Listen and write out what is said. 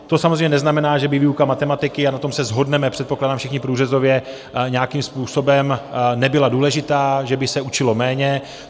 To samozřejmě neznamená, že by výuka matematiky, a na tom se shodneme, předpokládám, všichni průřezově nějakým způsobem, nebyla důležitá, že by se učilo méně.